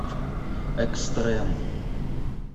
экстрем